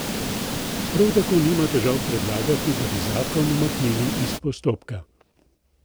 Prav tako nima težav predlagati, da bi zakon umaknili iz postopka.